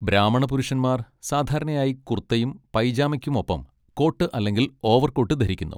ബ്രാഹ്മണ പുരുഷന്മാർ സാധാരണയായി കുർത്തയും പൈജാമയ്ക്കും ഒപ്പം കോട്ട് അല്ലെങ്കിൽ ഓവർകോട്ട് ധരിക്കുന്നു.